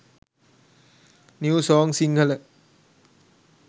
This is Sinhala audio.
new song sinhala